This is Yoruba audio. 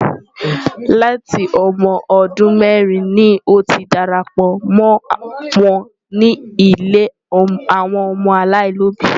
Láti ọmọ ọdún mẹ́rin ni ó ti darapọ̀ mọ́ wọn ní ilé àwọn ọmọ aláìlóbìí.